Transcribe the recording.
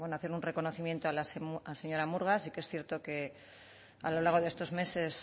hacer un reconocimiento a la señora murga sí que es cierto que a lo largo de estos meses